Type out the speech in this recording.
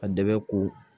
A dɛmɛ ko